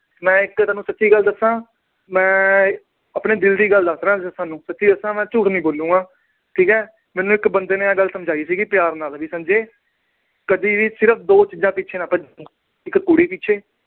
ਮੈਂ ਤੁਹਾਨੂੰ ਇੱਕ ਸੱਚੀ ਗੱਲ ਦੱਸਾਂ ਮੈਂ ਆਪਣੇ ਦਿਲ ਦੀ ਗੱਲ ਦੱਸ ਰਿਹਾਂ ਤੁਹਾਨੂੰ ਸੱਚੀ ਦੱਸਾਂ ਮੈਂ ਝੂਠ ਨੀ ਬੋਲਾਂਗਾ, ਠੀਕ ਹੈ ਮੈਨੂੰ ਇੱਕ ਬੰਦੇ ਨੇ ਆਹ ਗੱਲ ਸਮਝਾਈ ਸੀਗੀ ਪਿਆਰ ਨਾਲ ਵੀ ਸੰਜੇ ਕਦੇ ਵੀ ਸਿਰਫ਼ ਦੋ ਚੀਜ਼ਾਂ ਨਾ ਭੱਜੀ ਇੱਕ ਕੁੜੀ ਪਿੱਛੇ